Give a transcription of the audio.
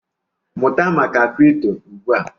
Mụta maka kripto ugbu a!